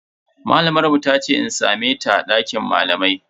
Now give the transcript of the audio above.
Malamar mu tace in same ta a dakin malamai.